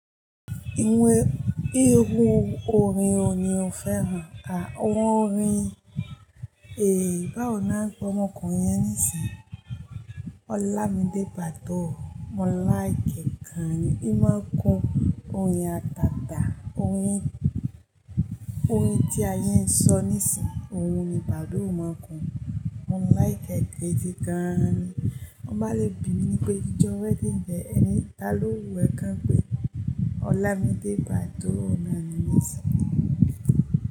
Iwe irun orin wo ni o fẹ́ran ka? Awon orin, bawo ni a n pe ọmọkunrin yẹn nisinyi? Olamide Badoo, mo like e gan, i ma ko orin ataata, orin, orin ti a ye n sọ nisin, oun ni Badoo ma ko, mo like gidi gan ni. Won ba le bi mi ni pe ijọ wedding de, ẹni, ta lo hu ẹkan pe Olamide Badoo naa ni nisin.